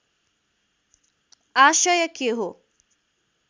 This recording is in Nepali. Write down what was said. आशय के हो